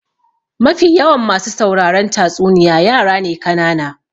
Mafi yawan masu sauraron tatsuniya yara ne kanana.